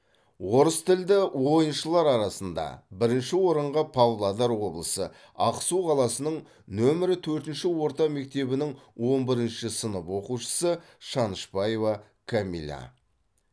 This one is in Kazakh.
орыс тілді ойыншылар арасында бірінші орынға павлодар облысы ақсу қаласының нөмірі төртінші орта мектебінің он бірінші сынып оқушысы шанышпаева камила